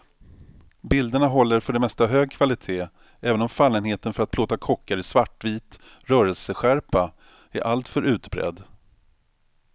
Bilderna håller för det mesta hög kvalitet, även om fallenheten för att plåta kockar i svartvit rörelseskärpa är alltför utbredd.